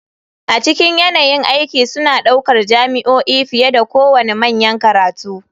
A cikin yanayin aiki suna ɗaukar jami'o'i fiye da kowane manyan makarantu.